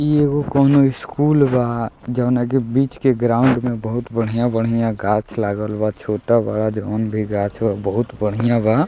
इ एगो कउनो स्कूल बा जउना के बीच के ग्राउंड में बहुत बढ़ियां-बढ़ियां गाँछ लागल बा। छोटा बड़ा जउन भी गाँछ ह उ बहुत बढ़ियां बा।